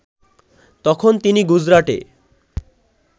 তখন তিনি গুজরাটে